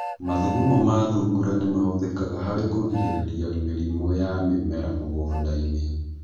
Mathugumo ma thungura nĩ mahũthĩkaga harĩ kũrigĩrĩria mĩrĩmu ya mĩmera mũgũnda-inĩ.